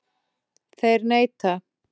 Þeir neita.